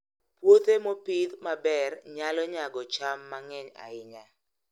Puothe mopidh maber nyalo nyago cham mang'eny ahinya.